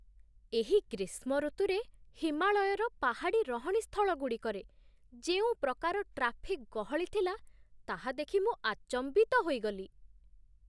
ଏହି ଗ୍ରୀଷ୍ମ ଋତୁରେ, ହିମାଳୟର ପାହାଡ଼ି ରହଣିସ୍ଥଳଗୁଡ଼ିକରେ ଯେଉଁପ୍ରକାର ଟ୍ରାଫିକ୍ ଗହଳି ଥିଲା, ତାହା ଦେଖି ମୁଁ ଆଚମ୍ବିତ ହୋଇଗଲି।